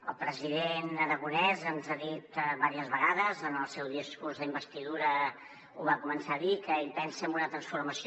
el president aragonès ens ha dit diverses vegades en el seu discurs d’investidura ho va començar a dir que ell pensa en una transformació